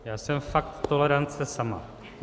Já jsem fakt tolerance sama.